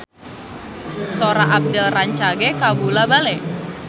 Sora Abdel rancage kabula-bale